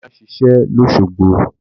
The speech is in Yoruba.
Bàbá ń ṣiṣẹ́ lósogbo